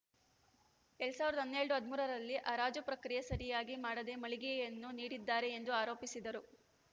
ಎರಡ್ ಸಾವಿರದ ಹನ್ನೆರಡು ಹದಿಮೂರರಲ್ಲಿ ಹರಾಜು ಪ್ರಕ್ರಿಯೆ ಸರಿಯಾಗಿ ಮಾಡದೆ ಮಳಿಗೆಗಳನ್ನು ನೀಡಿದ್ದಾರೆ ಎಂದು ಆರೋಪಿಸಿದರು